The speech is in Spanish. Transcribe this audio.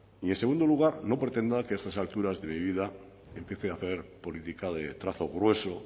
y en segundo lugar no pretenda que a estas alturas de mi vida empiece a hacer política de trazo grueso